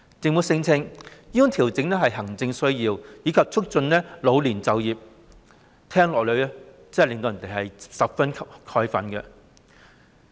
政府聲稱調整是行政需要，以及旨在促進老年就業，這真是聽到也令人十分憤慨。